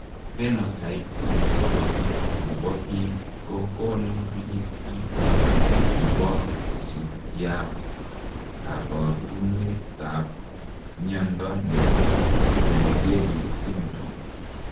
Phenotype Ontology ne po biik ko konu listiit ne isubiap kaabarunetap mnyando ne po Naegeli syndrome.